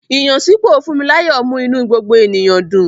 Ìyànsípò Funmilayo mú inú gbogbo ènìyàn dùn.